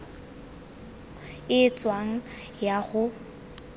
e e tshwanang ya go